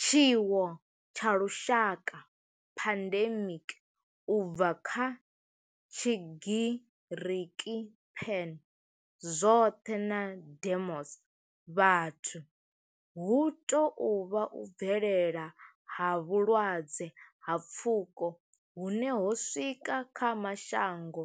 Tshiwo tsha lushaka pandemic, u bva kha tshigiriki pan, zwothe na demos, vhathu hu tou vha u bvelela ha vhulwadze ha pfuko hune ho swika kha mashango